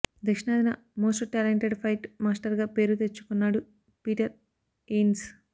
దక్షిణాదిన most talented fight మాస్టర్గా పేరు తెచ్చుకొన్నాడు పీటర్ హెయిన్స్